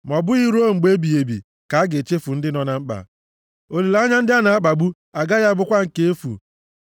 Ma ọ bụghị ruo mgbe ebighị ebi ka a ga-echefu ndị nọ na mkpa; olileanya ndị a na-akpagbu agaghị abụkwa nke efu.